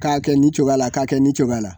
K'a kɛ nin cogoya la k'a kɛ nin cogoya la